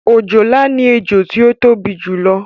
òjòlá ni ẹjọ tí ó tóbi jù lọ